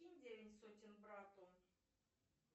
кинь девять сотен брату